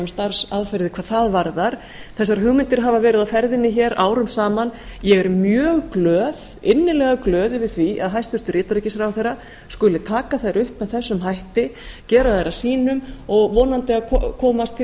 starfsaðferðir hvað það varðar þessar hugmyndir hafa verið á ferðinni hér árum saman ég er mjög glöð innilega glöð yfir því að hæstvirtur utanríkisráðherra skuli taka þær upp með þessum hætti gera þær að sínum og vonandi að komast til